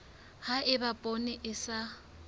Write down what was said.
ha eba poone e sa